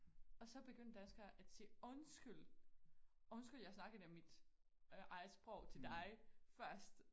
Og så begyndte danskere at sige undskyld undskyld jeg snakkede dig mit eget sprog til dig først